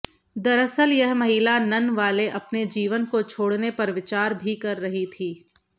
दरअसल यह महिला नन वाले अपने जीवन को छोड़ने पर विचार भी कर रही थी